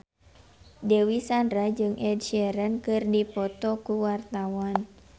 Dewi Sandra jeung Ed Sheeran keur dipoto ku wartawan